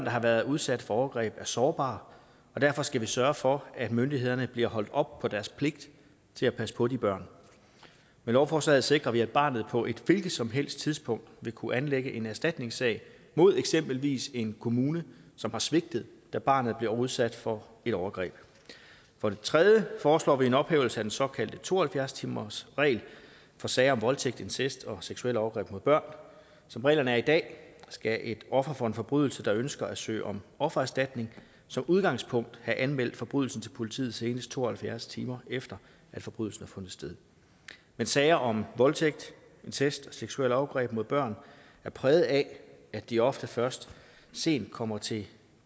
har været udsat for overgreb er sårbare og derfor skal vi sørge for at myndighederne bliver holdt op på deres pligt til at passe på de børn med lovforslaget sikrer vi at barnet på et hvilket som helst tidspunkt vil kunne anlægge en erstatningssag mod eksempelvis en kommune som har svigtet da barnet blev udsat for et overgreb for det tredje foreslår vi en ophævelse af den såkaldte to og halvfjerds timersregel for sager om voldtægt incest og seksuelle overgreb mod børn som reglerne er i dag skal et offer for en forbrydelse der ønsker at søge om offererstatning som udgangspunkt have anmeldt forbrydelsen til politiet senest to og halvfjerds timer efter forbrydelsen har fundet sted men sager om voldtægt incest og seksuelle overgreb mod børn er præget af at de ofte først sent kommer til